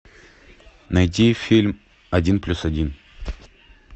найти фильм один плюс один